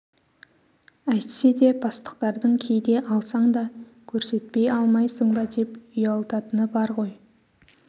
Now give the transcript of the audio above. әйтсе де бастықтардың кейде алсаң да көрсетпей алмайсың ба деп ұялтатыны бар ғой